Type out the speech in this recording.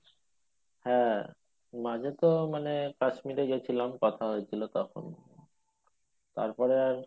হ্যাঁ মাঝে তো মানে কাশ্মীরে গেছিলাম কথা হয়েছিল তখন তারপরে